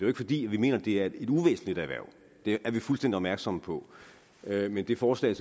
ikke fordi vi mener det er et uvæsentlig erhverv vi er fuldstændig opmærksomme på det men det forslag